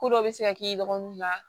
Ko dɔ bɛ se ka k'i dɔgɔninw ma